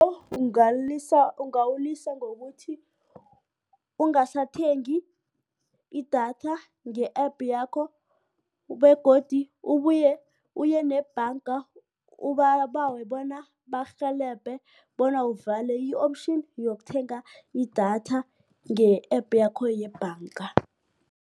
Ungalilisa ungawulisa ngokuthi ungasathengi idatha nge-App yakho begodu ubuye uye nebhanga ubabawe bona bakurhelebhe bona uvale i-option yokuthenga idatha nge-App yakho yebhanga.